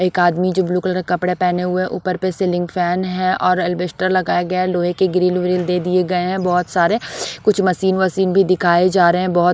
एक आदमी जो ब्लू कलर के कपड़े पहने हुए है ऊपर पे सीलिंग फैन है और एल्बेस्टर लगाया गया है लोहे के ग्रील वृल दे दिए गए हैं बहुत सारे कुछ मशीन वसीन भी दिखाए जा रहे है बहुत--